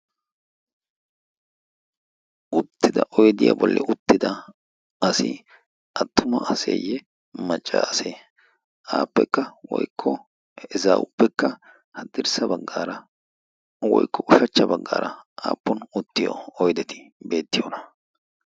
Uttida oydiyaa bollan uttida asi attuma aseeyye maccaase? Appekka woykko he ezaawuppekka haddirssa baggaara woykko ushachcha baggaara aappun uttiyo oydeti beettiyoona?